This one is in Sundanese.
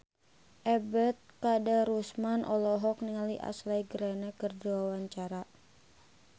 Ebet Kadarusman olohok ningali Ashley Greene keur diwawancara